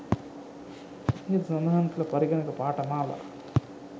ඉහත සඳහන් කල පරිගණක පාඨමාලා